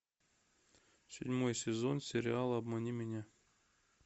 седьмой сезон сериала обмани меня